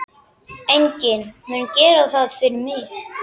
Enginn mun gera það fyrir mig.